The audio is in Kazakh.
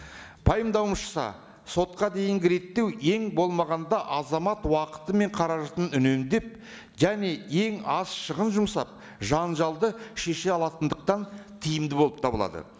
пайымдауымызша сотқа дейінгі реттеу ең болмағанда азамат уақыты мен қаражатын үнемдеп және ең аз шығын жұмсап жанжалды шеше алатындықтан тиімді болып табылады